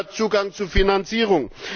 dazu gehört Zugang zu Finanzierung